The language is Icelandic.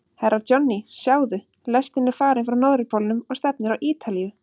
Herra Johnny, sjáðu, lestin er farin frá Norðurpólnum og stefnir á Ítalíu.